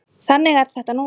Þannig er þetta nú oft.